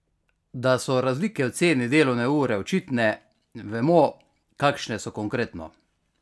Da so razlike v ceni delovne ure očitne, vemo, kakšne so konkretno?